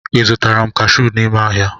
Ị zụtara m kashụ n’ime ahịa?